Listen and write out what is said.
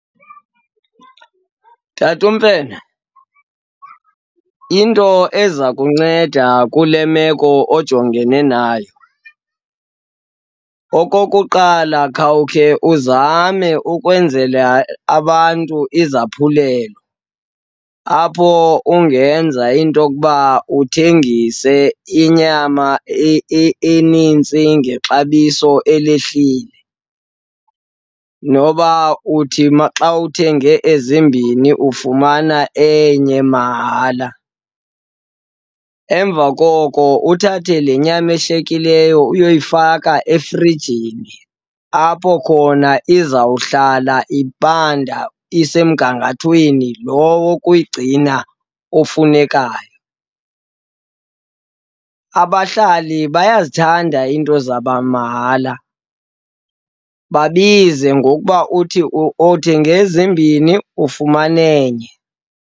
Tata uMfene, into eza kunceda kule meko ojongene nayo, okokuqala khawukhe uzame ukwenzela abantu izaphulelo apho ungenza into yokuba uthengise inyama enintsi ngexabiso elehlile, noba uthi xa uthenge ezimbini ufumana enye mahala. Emva koko uthathe le nyama eshiyekileyo uyoyifaka efrijini, apho khona izawuhlala ibanda isemgangathweni lo wokuyigcina ofunekayo. Abahlali bayazithanda iinto zamahala, babize ngokuba uthi othenge ezimbini, ufumane enye.